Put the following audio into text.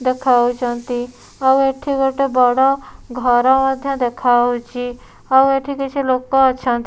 ଦେଖାହୋଉଚନ୍ତି ଆଉ ଏଠି ଗୋଟେ ବଡ଼ ଘର ମଧ୍ୟ ଦେଖାହୋଉଚି ଆଉ ଏଠି କିଛି ଲୋକ ଅଛନ୍ତ --